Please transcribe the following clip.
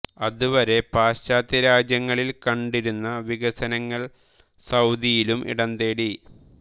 അത് വരെ പാശ്ചാത്യ രാജ്യങ്ങളിൽ കണ്ടിരുന്ന വികസനങ്ങൾ സൌദിയിലും ഇടംതേടി